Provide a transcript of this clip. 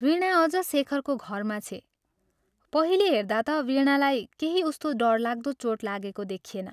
वीणा अझ शेखरको घरमा छे पहिले हेर्दा ता वीणालाई केही उस्तो डरलाग्दो चोट लागेको देखिएन।